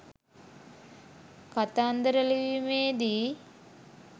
කතන්දර ලිවීමේදීයි.